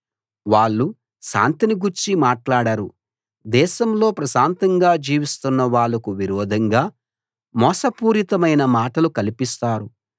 వాళ్ళు శాంతిని గూర్చి మాట్లాడరు దేశంలో ప్రశాంతంగా జీవిస్తున్న వాళ్లకు విరోధంగా మోసపూరితమైన మాటలు కల్పిస్తారు